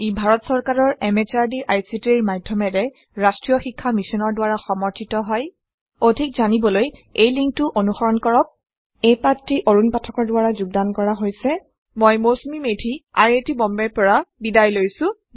ই ভাৰত চৰকাৰৰ MHRDৰ ICTৰ মাধয়মেৰে ৰাস্ত্ৰীয় শিক্ষা মিছনৰ দ্ৱাৰা সমৰ্থিত হয় অধিক জানিবলৈ এই লিঙ্ক টো অনুসৰন কৰক এই পাঠটি অৰুন পাঠকৰ দ্ৱৰা যোগদান কৰা হৈছে আই আই টী বম্বে ৰ পৰা মই মৌচুমী মেধী এতিয়া আপুনাৰ পৰা বিদায় লৈছো